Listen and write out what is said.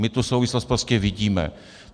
My tu souvislost prostě vidíme.